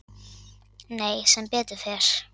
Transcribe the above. """Nei, sem betur fer."""